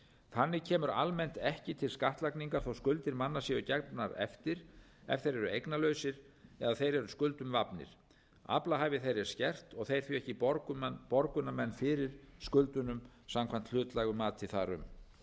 þannig kemur almennt ekki til skattlagningar þó skuldir manna séu gefnar eftir ef þeir eru eignalausir eða þeir eru skuldum vafnir aflahæfi þeirra er skert og þeir því ekki borgunarmenn fyrir skuldunum samkvæmt hlutlægu mati þar um